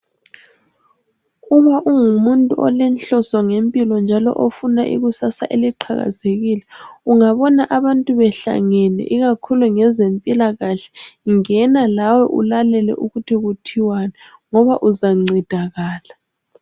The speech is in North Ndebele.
Uma ungumuntu olenhloso ngempilo njalo ofuna ikusasa eliqhakazekile, ungabona abantu behlangene ikakhulu ngezempilakahle ngena lawe ulalele ukuthi kuthiwani ngoba uzancedakala.